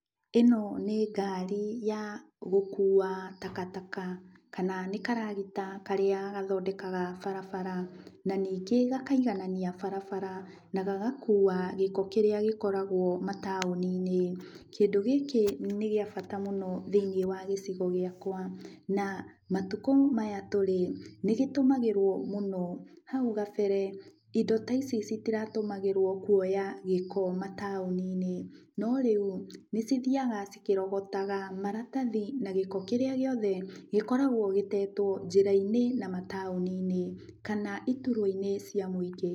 Ĩno nĩ ngaari ya gũkua takataka, kana nĩ karagita karĩa gathondekaga barabara na ningĩ gakaiganania barabara na gagakuua gĩko kĩrĩa gĩkoragwo mataũni-inĩ. Kĩndũ gĩkĩ nĩ gĩa bata mũno thĩinĩ wa gĩcigo gĩakwa, na matukũ maya tũrĩ nĩ gĩtũmagĩrwo mũno, hau gabere indo ta ici itiratũmagĩrwo kuoya gĩko mataũni-inĩ, no rĩu, nĩ cithiaga cikĩrogotaga maratathi na gĩko kĩrĩa gĩothe gĩkoragwo gĩtetwo njĩrainĩ na mataũni-inĩ kana iturwa-inĩ cia mũingĩ.